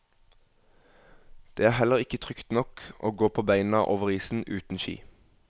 Det er heller ikke trygt nok å gå på beina over isen, uten ski.